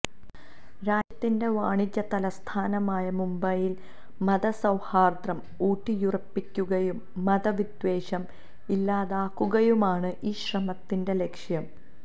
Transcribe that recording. രാജ്യത്തിന്റെ വാണിജ്യ തലസ്ഥാനമായ മുംബൈയില് മതസൌഹാര്ദം ഊട്ടിയുറപ്പിക്കുകയും മതവിദ്വേഷം ഇല്ലാതാക്കുകയുമാണ് ഈ ശ്രമത്തിന്റെ ലക്ഷ്യം